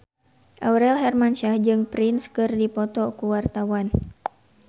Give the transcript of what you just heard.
Aurel Hermansyah jeung Prince keur dipoto ku wartawan